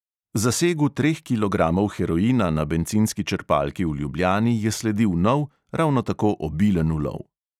Zasegu treh kilogramov heroina na bencinski črpalki v ljubljani je sledil nov, ravno tako obilen ulov.